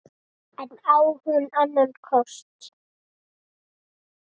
En á hún annan kost?